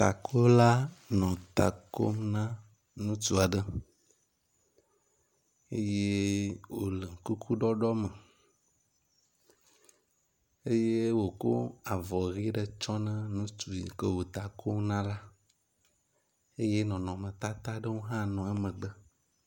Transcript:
Takola nɔ ta kom na ŋutsu aɖe eye wo le kuku ɖɔɖɔ me eye wokɔ vɔ ʋi ɖe tsɔna ŋutsu yi wo ta kom na la eye nɔnɔmetata aɖewo hã nɔ emegbe.